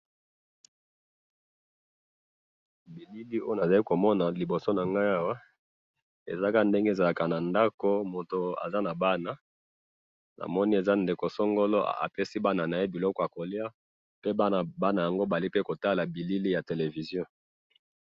na bilili oyo nazali komona liboso nangai awa, ezalaka, ndenge ezalaka na ndako mutu aza na bana, namoni eza ndeko songolo apesi bana naye biloko ya kolya, pe bana yango bazali kotola bilili ya television